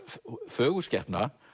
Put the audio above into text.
fögur skepna